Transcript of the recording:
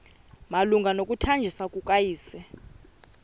malunga nokuthanjiswa kukayesu